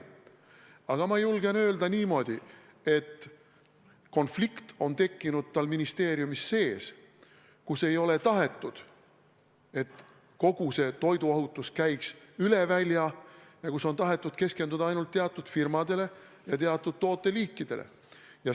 Aga ma julgen öelda niimoodi, et konflikt on tekkinud tal ministeeriumis sees, kus ei ole tahetud, et kogu see toiduohutus käiks üle välja, ning on tahetud keskenduda ainult teatud firmadele ja teatud tooteliikidele.